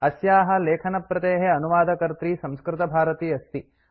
अस्याः लेखनप्रतेः अनुवादकर्त्री संस्कृतभारती अस्ति